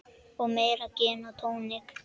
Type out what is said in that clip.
Og meira gin og tónik.